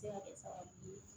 Se ka kɛ sababu ye